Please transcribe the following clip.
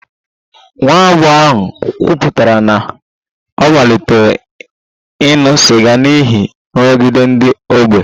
Nwa agbọghọ ahụ kwupụtara na ọ malitere ịṅụ sịga n'ihi nrụgide ndị ọgbọ